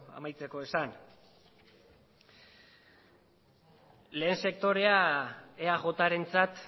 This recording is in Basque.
amaitzeko esan lehen sektorea eajrentzat